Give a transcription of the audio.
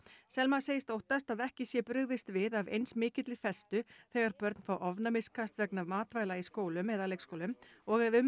Selma segist óttast að ekki sé brugðist við af eins mikilli festu þegar börn fá ofnæmiskast vegna matvæla í skólum eða leikskólum og ef um